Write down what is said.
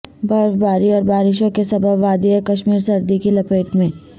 برف باری اور بارشوں کے سبب وادی کشمیر سردی کی لپیٹ میں